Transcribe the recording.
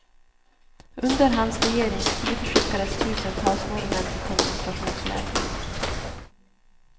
Under hans regeringstid skickades tusentals norrmän till koncentrations läger.